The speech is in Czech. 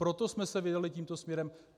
Proto jsme se vydali tímto směrem.